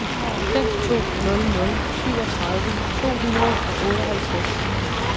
fem to nul nul syvogtredive to hundrede og otteoghalvtreds